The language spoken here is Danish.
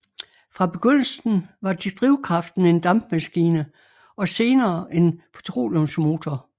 Fra begyndelsen var drivkraften en dampmaskine og senere en petroleumsmotor